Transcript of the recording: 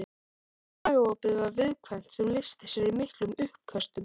Magaopið var viðkvæmt sem lýsti sér í miklum uppköstum.